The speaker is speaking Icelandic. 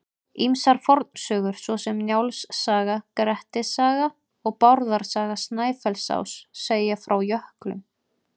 Ýmsar fornsögur svo sem Njáls saga, Grettis saga og Bárðar saga Snæfellsáss segja frá jöklum.